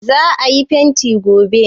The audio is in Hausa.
za a yi fenti gobe!